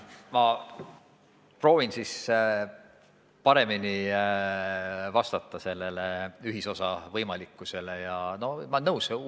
Ma proovin siis ühisosa võimalikkuse küsimusele paremini vastata.